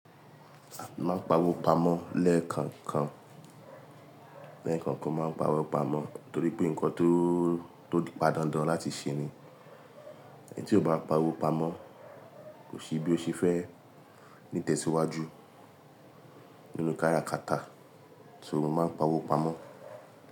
Mo máa ń pawó pamọ́ lẹ́ẹ̀kankan, lẹ́ẹ̀kankan máa ń pawó pamọ́ torí pé nǹkan tó, tó pádàńdán láti ṣe ni. Ẹni tí ò bá pawó pamọ́ kò sí bí ó ṣe fẹ́ ní tẹ́síwájú nínú káràkátà, so mo máa ń pawó pamọ́.